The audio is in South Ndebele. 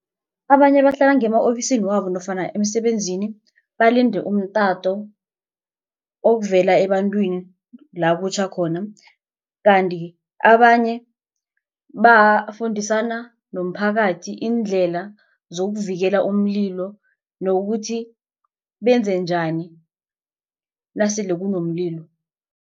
Abanye bahlala ngema-ofisini wabo nofana emsebenzini balinde umtato ovela ebantwini la kutjha khona. Kanti abanye bafundisana nomphakathi iindlela zokuvikela umlilo nokuthi benze njani nasele kunomlilo.